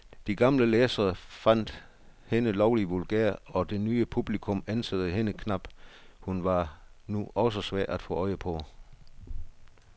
De gamle læsere fandt hende lovlig vulgær, og det nye publikum ænsede hende knap, hun var nu også svær at få øje på.